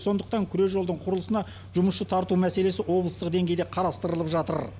сондықтан күре жолдың құрылысына жұмысшы тарту мәселесі облыстық деңгейде қарастырылып жатыр